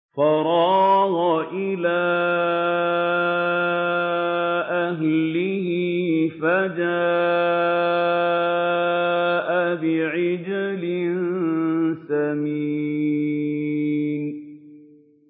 فَرَاغَ إِلَىٰ أَهْلِهِ فَجَاءَ بِعِجْلٍ سَمِينٍ